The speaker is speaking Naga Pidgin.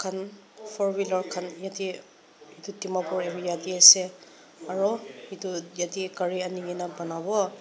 four wheeler khan yete dimapur area de ase aro etu yete gari ani gina banabo.